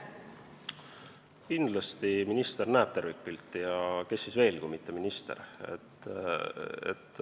Kindlasti minister näeb tervikpilti, kes siis veel kui mitte minister.